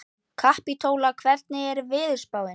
Kapítóla, hvernig er veðurspáin?